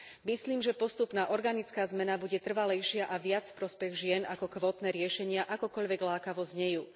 Myslím, že postupná organická zmena bude trvalejšia a viac v prospech žien ako kvótne riešenia, akokoľvek lákavo znejú.